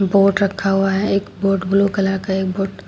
Boat रखा हुआ है। एक बोट ब्लू कलर का एक बोट --